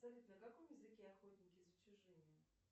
салют на каком языке охотники за чужими